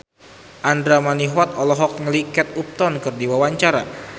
Andra Manihot olohok ningali Kate Upton keur diwawancara